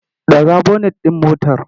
Ɗaga bonet ɗin motar!